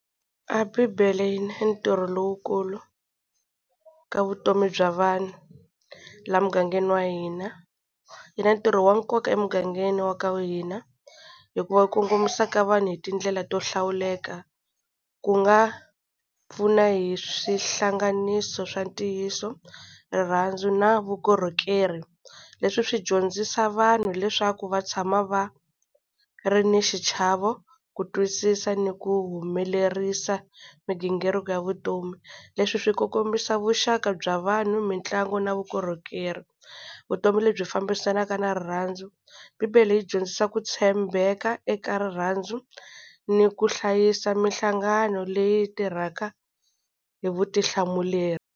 A bibele yi na ntirho lowukulu ka vutomi bya vanhu la mugangeni wa hina. Yi na ntirho wa nkoka emugangeni wa ka hina, hikuva yi kongomisa ka vanhu hi tindlela to hlawuleka. Ku nga pfuna hi swihlanganiso swa ntiyiso, rirhandzu na vukorhokeri. Leswi swi dyondzisa vanhu leswaku va tshama va ri na xichavo, ku twisisa, ni ku humelerisa migingiriko ya vutomi. Leswi swi ku kombisa vuxaka bya vanhu, mitlangu na vukorhokeri. Vutomi lebyi fambisanaka na rirhandzu. Bibele yi dyondzisa ku tshembeka eka rirhandzu, ni ku hlayisa mihlangano leyi tirhaka hi vutihlamuleri.